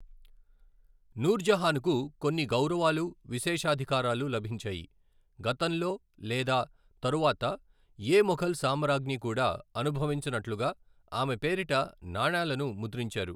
నూర్జహాన్కు కొన్ని గౌరవాలు, విశేషాధికారాలు లభించాయి, గతంలో లేదా తరువాత ఏ మొఘల్ సామ్రాజ్ఞి కూడా అనుభవించనట్లుగా ఆమె పేరిట నాణాలను ముద్రించారు.